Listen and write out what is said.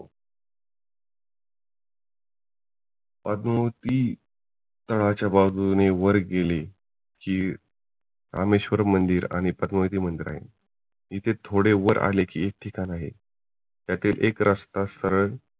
पद्मावती गडाच्या बाजूने वर गेले कि रामेश्वर मंदिर आणि पद्मावती मंदिर आहे. इथे थोडे वर आले कि एक ठिकाण आहे त्यातील एक रस्ता सरळ